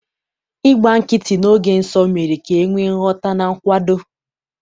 Ịgba nkịtị n'oge nsọ mere ka e nwee nghọta na nkwado.